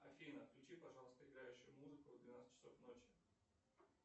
афина включи пожалуйста играющую музыку в двенадцать часов ночи